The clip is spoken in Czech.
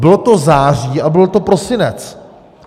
Bylo to září a byl to prosinec.